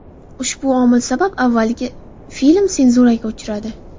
Ushbu omil sabab avvaliga film senzuraga uchradi.